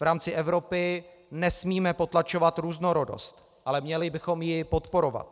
V rámci Evropy nesmíme potlačovat různorodost, ale měli bychom ji podporovat.